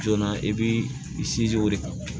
Joona i b'i sinsin o de kan